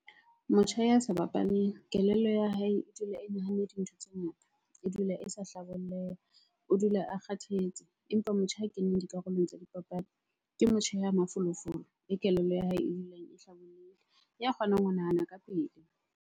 Motjha ya sa bapaleng, kelello ya hae e dula e nahanne dintho tse ngata, e dula e sa hlabolleha, o dula a kgathetse. Empa motjha a keneng dikarolong tsa dipapadi, ke motjha ya mafolofolo, le kelello ya hae e dulang e hlabollohile, ya kgonang ho nahana ka pele.